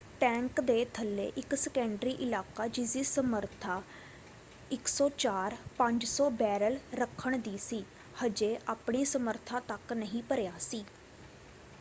Tank ਦੇ ਥੱਲੇ ਇੱਕ ਸੈਕੰਡਰੀ ਇਲਾਕਾ ਜਿਸਦੀ ਸਮਰੱਥਾ 104,500 ਬੈਰਲ ਰੱਖਣ ਦੀ ਸੀ ਹਜੇ ਆਪਣੀ ਸਮਰੱਥਾ ਤੱਕ ਨਹੀਂ ਭਰਿਆ ਸੀ।